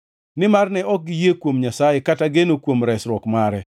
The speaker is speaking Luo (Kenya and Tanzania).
nimar ne ok giyie kuom Nyasaye kata geno kuom resruok mare.